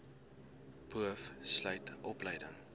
boov sluit opleiding